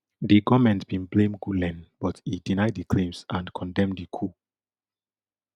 di goment bin blame gulen but e deny di claims and condemn di coup